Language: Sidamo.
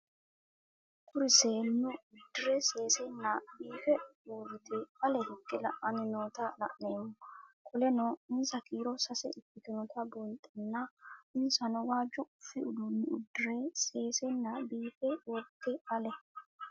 Kuri seenu udire sesena biife urite ale hige la'ani noota la'nemo qoleno insa kiiro sase ikinotana bunxana insano waajo qofe udune udire sesena biife urite ale